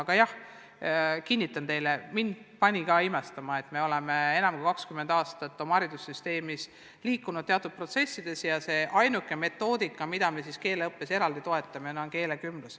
Aga jah, kinnitan teile, et mind pani ka imestama, et me oleme enam kui 20 aastat oma haridussüsteemis teatud protsesse soosinud, ent ainuke metoodika, mida me keeleõppes eraldi toetame, on keelekümblus.